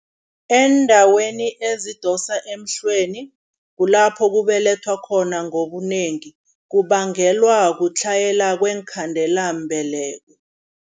Eendaweni ezidosa emhlweni, kulapho kubelethwa khona ngobunengi, kubangelwa kutlhayela kweenkhandelambeleko.